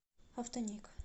автоник